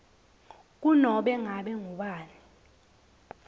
kunobe ngabe ngubani